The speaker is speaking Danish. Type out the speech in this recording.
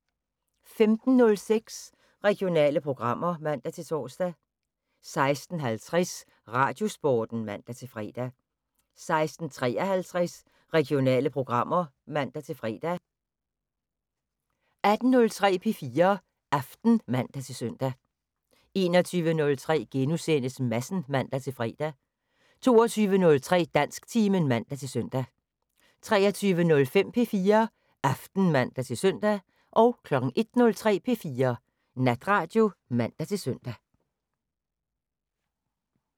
15:06: Regionale programmer (man-tor) 16:50: Radiosporten (man-fre) 16:53: Regionale programmer (man-fre) 18:03: P4 Aften (man-søn) 21:03: Madsen *(man-fre) 22:03: Dansktimen (man-søn) 23:05: P4 Aften (man-søn) 01:03: P4 Natradio (man-søn)